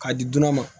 K'a di duurunan ma